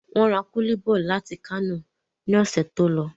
Wọ́n ra kúlí bọ́ làti ìlú Kánò ní ọ̀sẹ̀ tó lọ